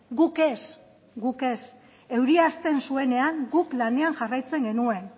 guk ez guk ez euria hasten zuenean guk lanean jarraitzen genuen